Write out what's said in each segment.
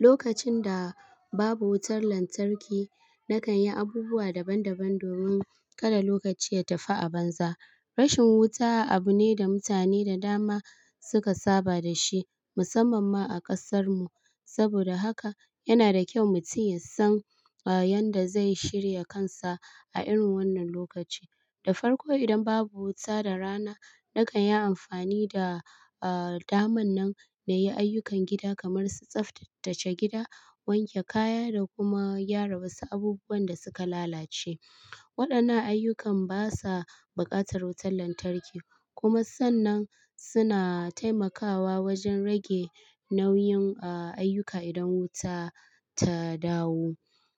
Lokacin da babu wutar lantarki, na kan yi abubuwa daban-daban domin kada lokaci ya tafi a banza. Rashin wuta abune da mutane da dama suka saba dashi musamman ma a kasar mu. Saboda haka yanada ƙyau mutum yasan, ah, yadda zai shirya kansa a irin wannan lokaci. Da farko idan babu wuta da rana, na kanyi amfani da, ah, daman nan nayi ayyukan gida kamar su tsaftace gida, wanke kaya da kuma gyara wasu abubuwan da suka lalace. Waɗannan ayyukan basa buƙatar wutar lantarki kuma sannan suna taimakawa wajen rage nauyin, ah, ayyuka idan wuta ta dawo.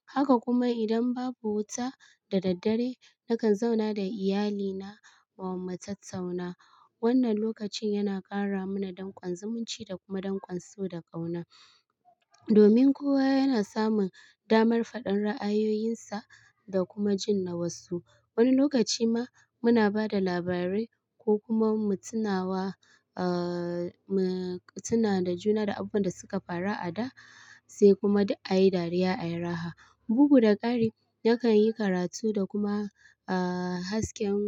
Haka kuma idan babu wuta da daddare, nakan zauna da iyalina kuma mu tattauna. Wannan lokacin yana ƙara mana danƙon zumunci da kuma danƙon so da ƙauna. Domin kowa yana samun damar faɗar ra'ayoyinsa da kuma jin na wasu. Wani lokaci ma muna bada labarai ko kuma mu tunawa, ah, mu tuna da juna da abubuwan da suka faru a da, sai kuma duk ayi dariya ayi raha. Bugu da ƙari, na kanyi karatu da kuma, ah, hasken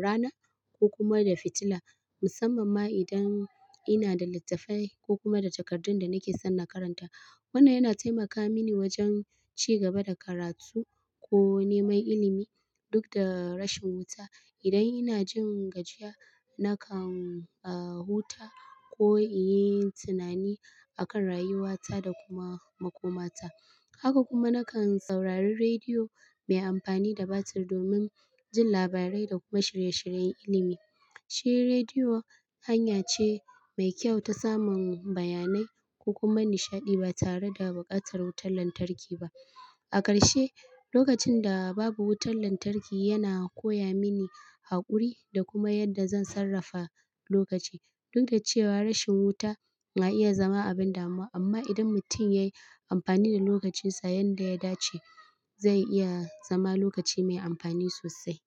ranar ko kuma da fitila musamman ma idan inada littattafai ko kuma da qtakardun da nake son na karanta. Wannan yana taimaka mini wajen cigaba da karatu ko neman ilimi dukda rashin wuta. Idan inajin gajiya, nakan, ah, huta ko inyi tunani akan rayuwata da kuma makomata. Haka kuma na kan saurari rediyo mai amfani da batir domin jin labarai da kuma shirye-shiryen ilimi. Shi rediyo hanya ce mai kyau ta samun bayanai ko kuma nishaɗi ba tare da buƙatar wutar lantarki ba. A ƙarshe, lokacin da babu wutar lantarki yana koya mini haƙuri da kuma yadda zan sarrafa lokaci. Dukda cewa rashin wuta na iya zama abin damuwa amma idan mutum yayi amfani da lokacinsa yanda ya dace, zai iya zama lokaci mai amfani sosai.